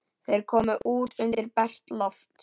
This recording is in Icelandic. Þeir komu út undir bert loft.